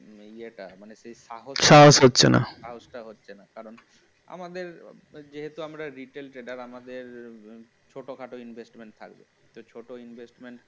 ইয়ে টা মানে সাহসটা সাহস হচ্ছে না, কারণ আমাদের যেহেতু আমরা retail trader আমাদের ছোটখাটো investment থাকে ছোট investment